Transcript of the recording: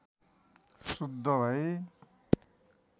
शुद्ध भई